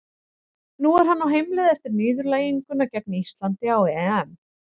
Nú er hann á heimleið eftir niðurlæginguna gegn Íslandi á EM.